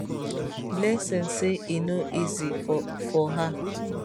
blessing say e no easy for for her